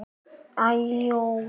Alda og Ægir.